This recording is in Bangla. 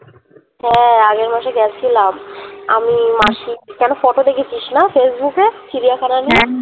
হ্যা আগের মাসে গেছিলাম আমি মাসি কেন photo দেখেছিস না facebook এ চিড়িয়াখানা নিয়ে